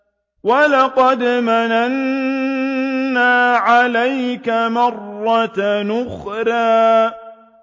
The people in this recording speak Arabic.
وَلَقَدْ مَنَنَّا عَلَيْكَ مَرَّةً أُخْرَىٰ